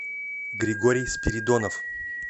григорий спиридонов